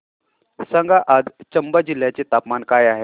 सांगा आज चंबा जिल्ह्याचे तापमान काय आहे